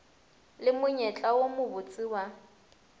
le monyetla wo mobotse wa